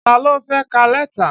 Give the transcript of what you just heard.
Ta ló fẹ́ ka lẹ́tà?